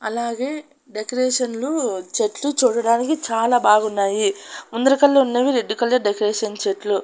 అలాగే డెకరేషన్లు చెట్లు చూడడానికి చాలా బాగున్నాయి ముందరకల్ల ఉన్నవి రెడ్ కలర్ డెకరేషన్ చెట్లు.